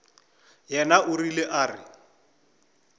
yena o rile a re